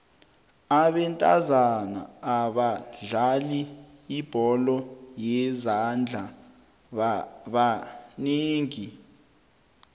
abentazana abadlala ibholo yezandla banengi